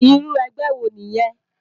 Irú ègbè wó niyèn?